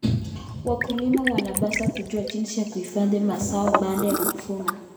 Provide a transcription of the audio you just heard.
Wakulima wanapaswa kujua jinsi ya kuhifadhi mazao baada ya kuvuna.